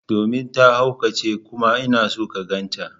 Domin ta haukace kuma ina son ka ganta.